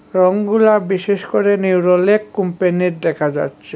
রংগুলা বিশেষ করে নেরোলাক কোম্পানির দেখা যাচ্ছে।